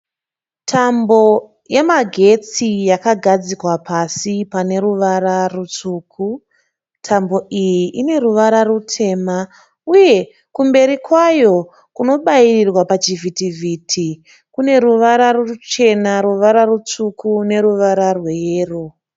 Tambo yemagetsi yakagadzikwa pasi pane ruvara rutsvuku. Tambo iyi ine ruvara rutema uye kumberi kwayo kunobairirwa pachivhiti vhiti kune ruvara ruchena, ruvara rutsvuku neruvara rweyero.